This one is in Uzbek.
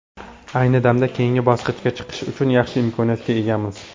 Ayni damda keyingi bosqichga chiqish uchun yaxshi imkoniyatga egamiz.